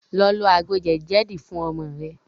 Lọ lò àgbò jedi jedi fún ọmọ rẹ